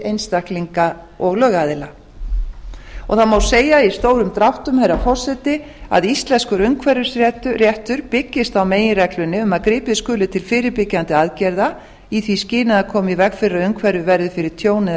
einstaklinga og lögaðila og það má segja í stórum dráttum herra forseti að íslenskur umhverfisréttur byggist á meginreglunni um að gripið skuli til fyrirbyggjandi aðgerða í því skyni að koma í veg fyrir að umhverfið verði fyrir tjóni